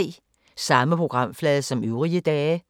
Samme programflade som øvrige dage